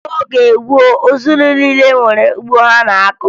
N'oge gboo, ezinụlọ niile nwere ugbo ha na-akọ